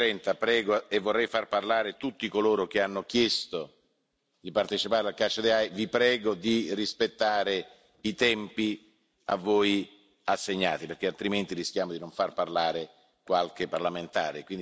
12.30, e vorrei far parlare tutti coloro che hanno chiesto di partecipare al vi prego di rispettare i tempi a voi assegnati, perché altrimenti rischiamo di non far parlare qualche parlamentare.